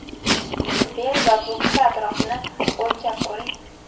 Bel va bo‘ksa atrofini o‘lchab ko‘ring.